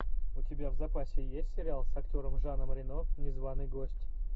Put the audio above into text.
у тебя в запасе есть сериал с актером жаном рено незваный гость